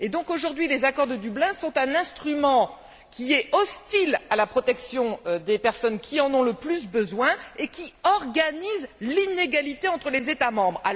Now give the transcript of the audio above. Aujourd'hui, les accords de Dublin sont un instrument hostile à la protection des personnes qui en ont le plus besoin et qui organisent l'inégalité entre les États membres.